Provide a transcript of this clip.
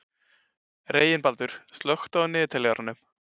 Reginbaldur, slökktu á niðurteljaranum.